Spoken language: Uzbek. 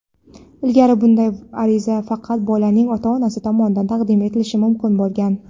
Ilgari bunday ariza faqat bolaning ota-onasi tomonidan taqdim etilishi mumkin bo‘lgan.